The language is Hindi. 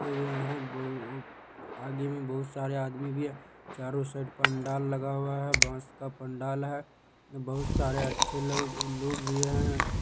आगे में बहुत सारे आदमी भी है। चारो साइड पंडाल लगा हुआ है बांस का पंडाल है। बहुत सारे अच्छे लोग लोग भी हैं।